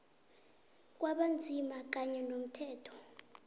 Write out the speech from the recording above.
kwabanzima kanye nomthetho